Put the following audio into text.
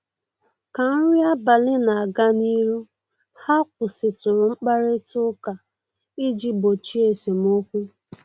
Ka nri abalị na-aga n'ihu, ha kwụsịtụrụ mkparịta ụka iji gbochie esemokwu